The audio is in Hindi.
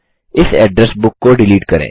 इस एड्रेस बुक को डिलीट करें